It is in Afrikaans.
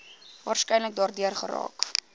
waarskynlik daardeur geraak